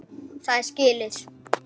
Það er skilti.